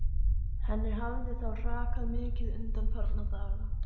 Henni hafði þá hrakað mikið undanfarna daga.